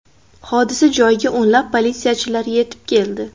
Hodisa joyiga o‘nlab politsiyachilar yetib keldi.